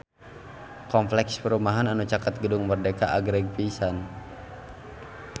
Kompleks perumahan anu caket Gedung Merdeka agreng pisan